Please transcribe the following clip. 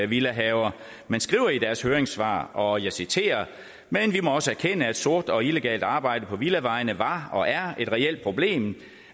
villahaver men skriver i deres høringssvar og jeg citerer men vi må også erkende at sort og illegalt arbejde på villavejene var og er et reelt problem